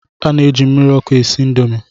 A na-eji mmiri ọkụ esi Indomi